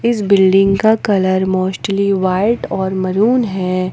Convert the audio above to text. इस बिल्डिंग का colour mostly white और मरून है।